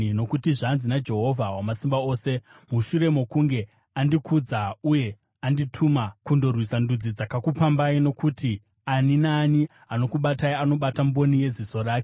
Nokuti zvanzi naJehovha Wamasimba Ose, “Mushure mokunge andikudza uye andituma kundorwisa ndudzi dzakakupambai, nokuti ani naani anokubatai anobata mboni yeziso rake,